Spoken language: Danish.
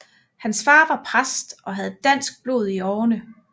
Hans far var præst og havde dansk blod i årerne